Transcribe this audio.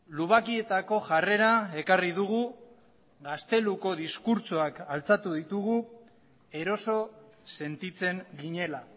lubakietako jarrera ekarri dugu gazteluko diskurtsoak altxatu ditugu eroso sentitzen ginela